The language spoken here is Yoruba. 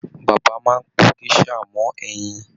Bàbá máa n po gèsà mọ ẹyin.